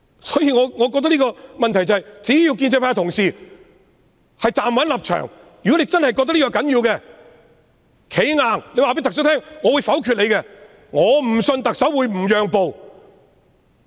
所以，我覺得問題是，只要建制派同事站穩立場，如果你們真的覺得這是要緊的，便"企硬"告訴特首：我會否決你的財政預算案。